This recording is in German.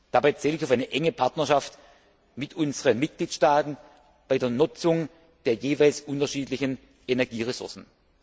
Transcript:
Dabei zähle ich auf eine enge Partnerschaft mit unseren Mitgliedstaaten bei der Nutzung der jeweils unterschiedlichen Energieressourcen.